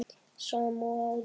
Sama og áður.